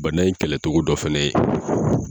Bana in kɛlɛcogo dɔ fana ye